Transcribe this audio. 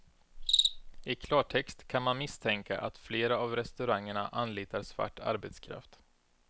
I klartext kan man misstänka att flera av restaurangerna anlitar svart arbetskraft.